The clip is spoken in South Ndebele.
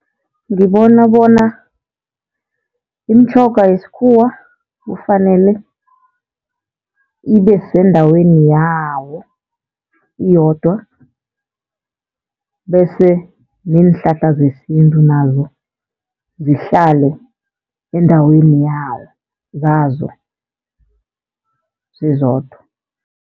Ngibona bona imitjhoga yesikhuwa kufanele ibe sendaweni yawo iyodwa. Bese neenhlahla zesintu nazo zihlale endaweni yawo zazo zizodwa.